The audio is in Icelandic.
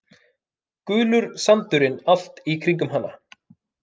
Gulur sandurinn allt í kringum hana.